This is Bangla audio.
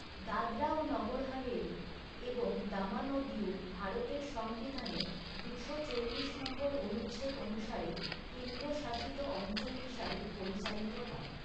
দাদরা ও নগর হাভেলি এবং দমন ও দিউ ভারতের সংবিধানের দুশো চল্লিশ নং অনুচ্ছেদ অনুসারে কেন্দ্রশাসিত অঞ্চল হিসাবে পরিচালিত হয়।